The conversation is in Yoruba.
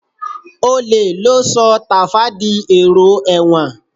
Olè ló sọ Tàfá di èrò ẹ̀wọ̀n